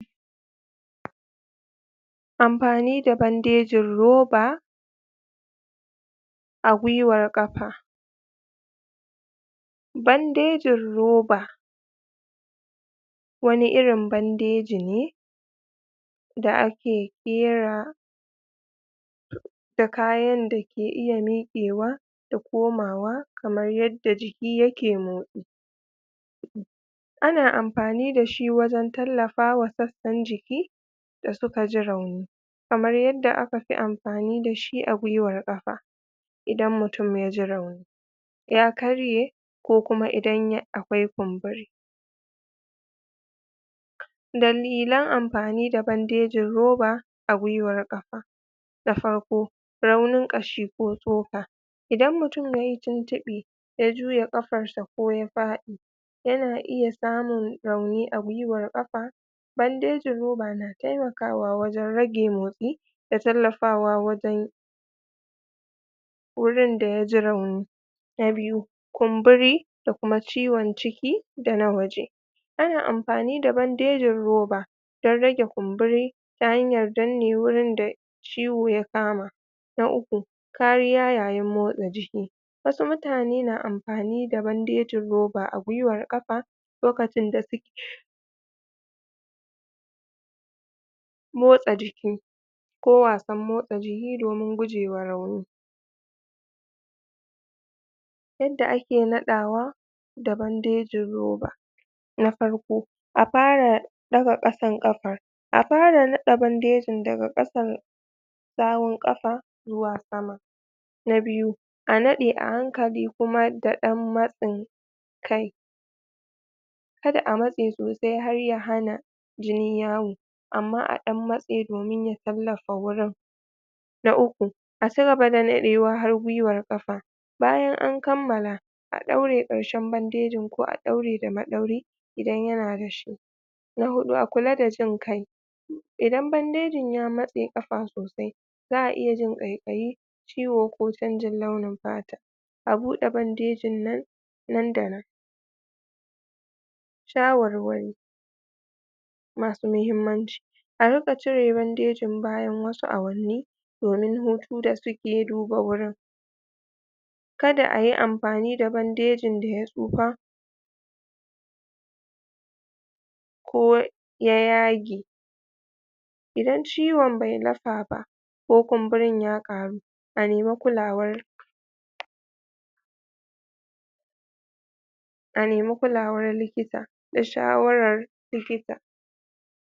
amfani da bandejin roba a gwiwar ƙafa bandejin roba wani irin bandeji ne da ake ƙera da kayan dake iya miƙewa da komawa kamar yadda jiki yake motsi ana amfani dashi wajan tallafawa sassan jiki dasuka ji rauni kamar yadda akafi amfani dashi a gwiwar ƙafa idan mutum yaji rauni ya karye ko kuma idan akwai kunbori dalilan amfani da bandeji dalilan amfani da bandejin roba a gwiwar ƙafa na farko raunin ƙashi ko tsoka idan mutum yayi tuntuɓe ya juya ƙafarshi koya faɗi yana iya samun rauni agwiwar ƙafa bandejin roba na temakawa wajan rage motsi da tallafawa wajan wurin da yaji rauni na biyu kunbori da kuma ciwan ciki dana waje ana amfani da bandejin roba dan rage kunburi ta hanyar danne wurin da ciwo ya kama na uku kariya yayi motsa jiki wasu mutane na amfani da bandejin roba a gwiwar ƙafa lokacin da suke motsa jiki ko wasan motsi jini yayin gujewa rauni yadda ake naɗawa da bandejin roba na farko a fara ɗaga ƙasan ƙafar a fara riƙe bandejin daga ƙasan sawun ƙasa zuwa sama na biyu a naɗe a hankali kuma da ɗan matsin kai kada amatse sosai harya hana jini yawo amma aɗan matse domin ya tallafe wurin na uku a cigaba da naɗewa har gwiwar ƙafa bayan an kammala a ɗaure ƙarshan bandejin ko a ɗaure da maɗauri idan yana da shi na huɗu a kula da jin kai idan bandajin ya matse ƙafa sosai za'a iyajin ƙaiƙayi ciwo ko canjin launin fata a buɗe bandejin nan nan da nan shawarwari masu mahimmaci a riƙa cire bandejin bayan wasu awanni domun hutu da suke duba wurin kada ayi amfani da bandejin daya tsufa koya yage idan ciwan bai lafaba ko kunburin ya ƙaru a nema kulawar a nema kulawar likita da shawarar likita